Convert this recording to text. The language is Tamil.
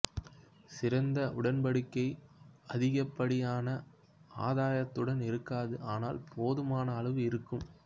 சிறந்த உடன்பாடு அதிகப்படியான ஆதாயத்துடன் இருக்காது ஆனால் போதுமான அளவு இருக்கும்